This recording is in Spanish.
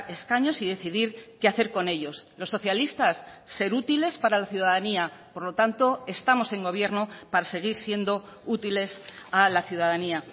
escaños y decidir qué hacer con ellos los socialistas ser útiles para la ciudadanía por lo tanto estamos en gobierno para seguir siendo útiles a la ciudadanía